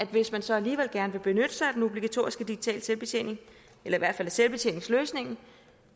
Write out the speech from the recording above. hvis man så alligevel gerne vil benytte sig af den obligatoriske digitale selvbetjening eller i hvert fald af selvbetjeningsløsningen